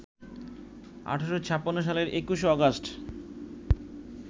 ১৮৫৬ সালের ২১ আগস্ট